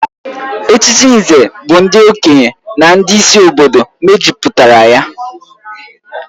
Echichi Nze bụ ndị okenye na ndị isi obodo mejupụtara ya